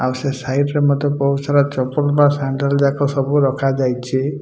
ଆଉ ସେ ସାଇଟ୍ ରେବ ମତେ କୋଉ ସାରା ଚପଲ୍ ବା ସାଣ୍ଡେଲ୍ ଯାକ ସବୁ ରଖା ଯାଇଚି।